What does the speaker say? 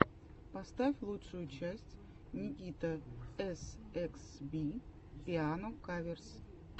поставь лучшую часть никитаэсэксби пиано каверс